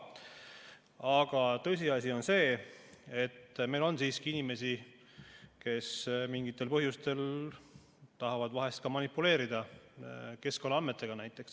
Aga tõsiasi on see, et meil on siiski inimesi, kes mingitel põhjustel tahavad vahel ka manipuleerida näiteks keskkonnaandmetega.